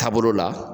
Taabolo la